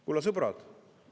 Kulla sõbrad!